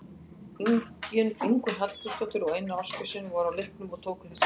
Ingunn Hallgrímsdóttir og Einar Ásgeirsson voru á leiknum og tóku þessar myndir.